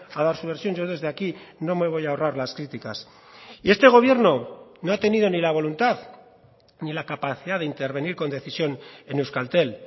a dar su versión yo desde aquí no me voy a ahorrar las críticas y este gobierno no ha tenido ni la voluntad ni la capacidad de intervenir con decisión en euskaltel